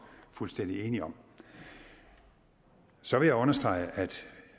fuldstændig enige om så vil jeg understrege at